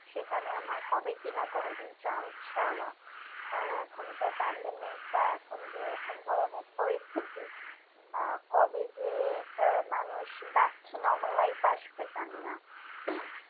সেখানে আমরা হবে কিনা কোনোদিন chance যাওয়া কারণ এখন যা pandemic বা এখন যে কোন ধরণের পরিস্থিতি আহ কবে যে আহ মানুষ back to normal life আসবে জানিনা উম